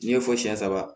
N'i ye fɔ siyɛn saba